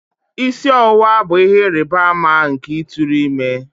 Isi ọwụwa bụ ihe ịrịba ama nke ịtụrụ ime